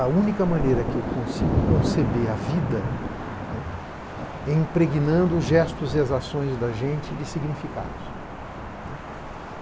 A única maneira que eu consigo conceber a vida, né, é impregnando os gestos e as ações da gente de significados, né.